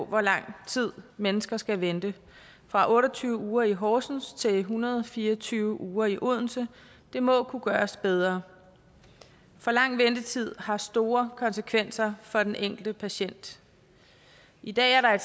hvor lang tid mennesker skal vente fra otte og tyve uger i horsens til en hundrede og fire og tyve uger i odense det må kunne gøres bedre for lang ventetid har store konsekvenser for den enkelte patient i dag er